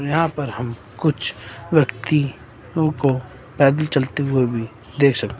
यहां पर हम कुछ व्यक्ति यों को पैदल चलते हुए भी देख सक--